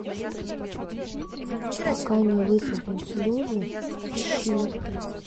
пока не высохнут слезы ищи